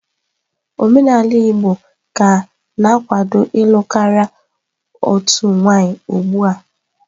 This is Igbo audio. Omenala Igbo ka na-akwado ịlụ karịa otu nwaanyị ugbu a.